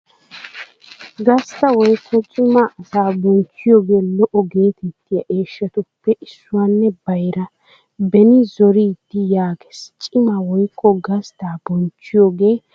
Gastta woykko cima asaa bonchchiyoogee lo'o geetettiyaa eeshshatuppe issuwaanne bayraa. Beni zoriiddi yaagees: cima woykko gastta bonchchiyaagaa a xoossay bonchchees.